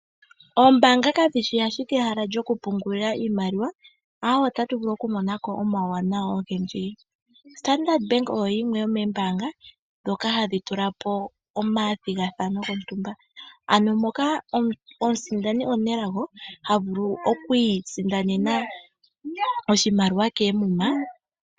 Ombaanga kadhishi ashike ehala lyokupungulila iimaliwa, aawe otatu vulu okumona ko omauwanawa ogendji. Standard Bank oyo yimwe yomoombaanga ndhoka hadhi tula po omathigathano gontumba, ano moka omusindani omunelago havulu okwiisindanena oshimaliwa koomuma.